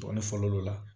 Ne fɔlɔ l'o la